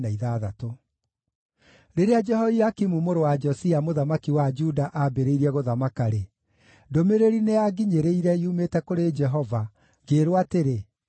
Rĩrĩa Jehoiakimu mũrũ wa Josia, mũthamaki wa Juda ambĩrĩirie gũthamaka-rĩ, ndũmĩrĩri nĩyanginyĩrire yumĩte kũrĩ Jehova, ngĩĩrwo atĩrĩ: